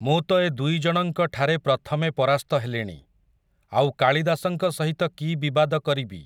ମୁଁ ତ ଏ ଦୁଇଜଣଙ୍କଠାରେ ପ୍ରଥମେ ପରାସ୍ତ ହେଲିଣି, ଆଉ କାଳିଦାସଙ୍କ ସହିତ କି ବିବାଦ କରିବି ।